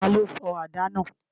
Ta ló fọ àdá náà?